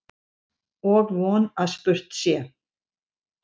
Og von að spurt sé.